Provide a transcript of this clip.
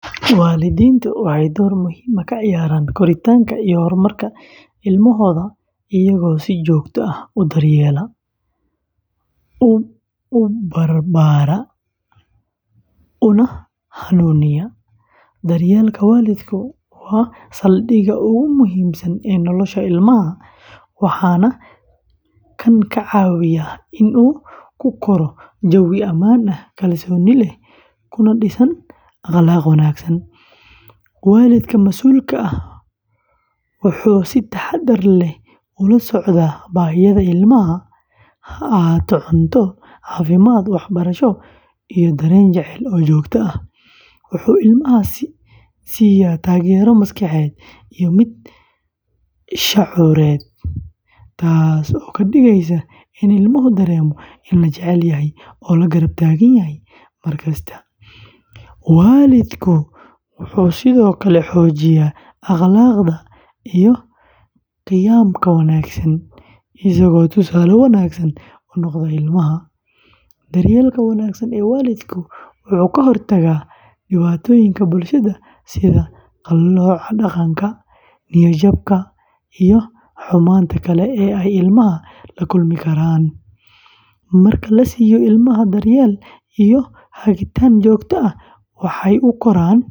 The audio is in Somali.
Waalidiintu waxay door muhiim ah ka ciyaaraan koritaanka iyo horumarka ilmahooda iyagoo si joogto ah u daryeela, u barbara, una hanuuniya. Daryeelka waalidku waa saldhigga ugu muhiimsan ee nolosha ilmaha, waana kan ka caawiya in uu ku koro jawi ammaan ah, kalsooni leh, kuna dhisana akhlaaq wanaagsan. Waalidka masuulka ah wuxuu si taxaddar leh ula socdaa baahiyaha ilmaha, ha ahaato cunto, caafimaad, waxbarasho, iyo dareen jacayl oo joogto ah. Wuxuu ilmaha siisaa taageero maskaxeed iyo mid shucuureed, taasoo ka dhigaysa in ilmuhu dareemo in la jecel yahay oo la garab taagan yahay mar kasta. Waalidku wuxuu sidoo kale xoojiyaa akhlaaqda iyo qiyamka wanaagsan, isagoo tusaale wanaagsan u noqda ilmaha. Daryeelka wanaagsan ee waalidku wuxuu ka hortagaa dhibaatooyinka bulshada sida qallooca dhaqan, niyad-jabka, iyo xumaanta kale ee ay ilmaha la kulmi karaan. Marka la siiyo ilmaha daryeel iyo hagitaan joogto ah, waxay u koraan.